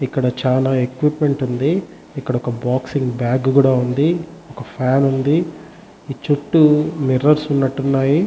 ఇక్కడ చాల ఎక్విప్మెంట్ ఉంది ఇక్కడ ఒక బాక్సింగ్ బాగ్ కూడా ఉంది ఒక ఫ్యాన్ ఉంది ఈ చుట్టూ మిర్రొర్స్ ఉన్నటు ఉన్నాయి.